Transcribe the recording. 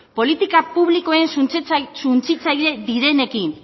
politika publikoen suntsitzaile direnekin